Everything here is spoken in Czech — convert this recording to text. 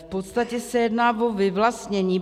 V podstatě se jedná o vyvlastnění.